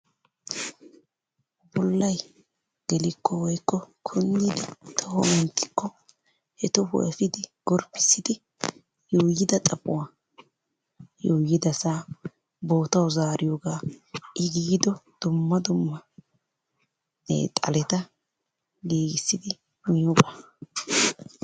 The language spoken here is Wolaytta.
Bollayi gelikko woykko kunddidi toho menttikko he tohuwa efiidi gorppissidi yuuyyida xaphuwa yuuyyidasaa bootawu zaariyogaa I giido dumma dumma xaleta giigissidi miyoga.